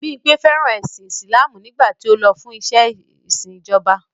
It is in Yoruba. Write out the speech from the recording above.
Bímpẹ̀ fẹ́ràn ẹ̀sìn Islamú nígbàtí ó lọ fún ìṣẹ̀ ìṣín ìjọba.